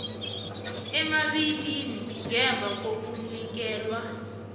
emibili ngemva kokunikelwa